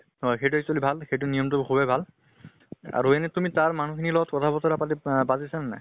হয় সেইটো actually ভাল। সেই নিয়ম টো সুভে ভাল, আৰু এনে তুমি তাৰ মানুহ খিনিৰ লগত কথা বতৰা পাতি পাতিছা নে নাই?